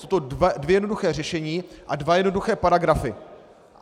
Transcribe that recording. Jsou to dvě jednoduchá řešení a dva jednoduché paragrafy.